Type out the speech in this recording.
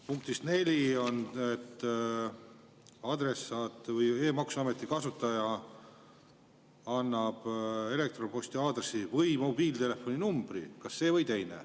Punktis 4 on, et adressaat või e-maksuameti kasutaja annab elektronposti aadressi või mobiiltelefoni numbri – kas see või teine.